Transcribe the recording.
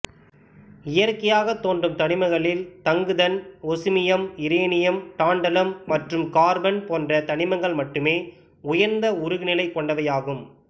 இயற்லையாகத் தோன்றும் தனிமங்களில் தங்குதன் ஒசுமியம் இரேனியம் டாண்ட்டலம் மற்றும் கார்பன் போன்ற தனிமங்கள் மட்டுமே உயர்ந்த உருகுநிலை கொண்டவையாகும்